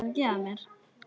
Hann var farinn að róast.